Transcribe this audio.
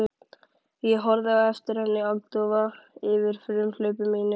Ég horfði á eftir henni agndofa yfir frumhlaupi mínu.